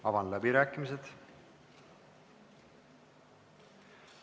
Avan läbirääkimised.